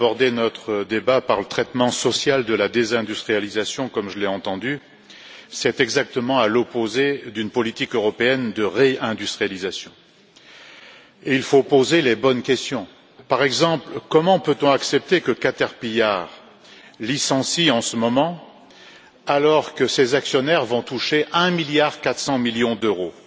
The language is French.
Madame la Présidente, je ne crois pas qu'il faille aborder notre débat par le traitement social de la désindustrialisation, comme je l'ai entendu, c'est exactement à l'opposé d'une politique européenne de réindustrialisation. Il faut poser les bonnes questions, par exemple, comment peut on accepter que Cater-pillard licencie en ce moment, alors que ses actionnaires vont toucher un milliard quatre cents millions d'euros?